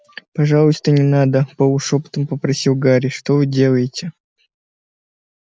пожалуйста не надо полушёпотом попросил гарри что вы делаете